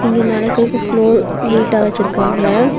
இங்க நடக்கறக்கு ஃப்ளோர் நீட்டா வச்சுருக்காங்க.